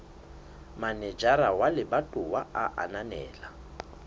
manejara wa lebatowa a ananela